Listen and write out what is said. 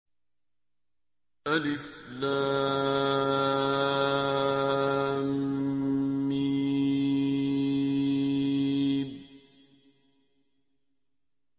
الم